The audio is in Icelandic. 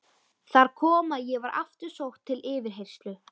Þar kom að ég var aftur sótt til yfirheyrslu.